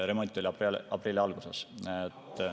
Remont oli aprilli alguses.